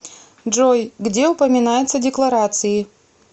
джой где упоминается декларации